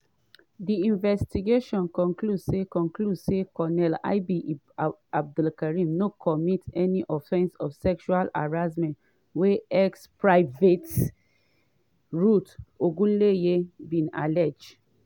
“di investigation conclude say conclude say colonel ib abdulkareen no commit di offence of sexual harassment wey ex-private ruth ogunleye bin allege.”